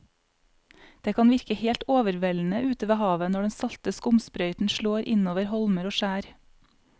Det kan virke helt overveldende ute ved havet når den salte skumsprøyten slår innover holmer og skjær.